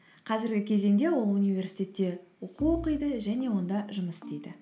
қазіргі кезеңде ол университетте оқу оқиды және онда жұмыс істейді